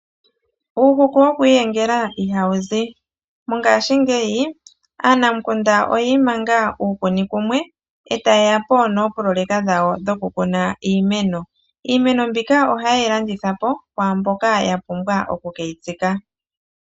Uuhuku wokwiiyengela ihawu zi ngaashingeyi aanamukunda oyi imanga uukuni kumwe , eta yeya po noopoloyeka dhawo dhoku kuna iimeno. Iimeno mbika ohaye yi landitha po kwaamboka ya pumbwa okuke yi tsika.